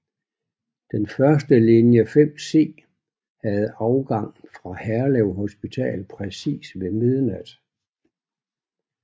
Den første linje 5C havde afgang fra Herlev Hospital præcis ved midnat